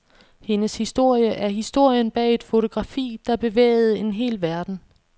Hendes historie er historien bag et fotografi, der bevægede en hel verden.